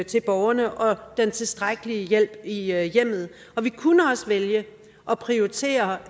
til borgerne og den tilstrækkelige hjælp i hjemmet og vi kunne også vælge at prioritere